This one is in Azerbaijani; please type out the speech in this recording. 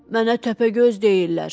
Mənə Təpəgöz deyirlər.